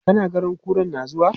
Kana ganin kuran na zuwa?